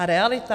A realita?